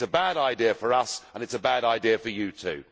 It is a bad idea for us and it is a bad idea for you too.